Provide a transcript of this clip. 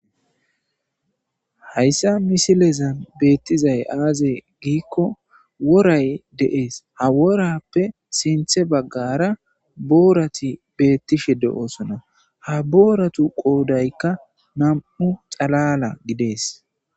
hayssa misilezan beettizay aaze giikko woray deees ha worappe sinthe baggara boorati beettishe de'osona ha booratu qoodaykka nam7u xalala gidees